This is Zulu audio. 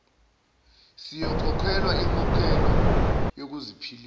siyokhokhelwa inkokhelo yokuziphilisa